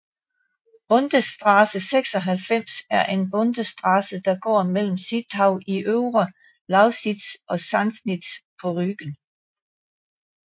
Bundesstraße 96 er en bundesstraße der går mellem Zittau i Øvre Lausitz og Sassnitz på Rügen